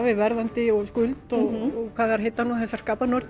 við verðandi skuld og hvað þær heita nú þessar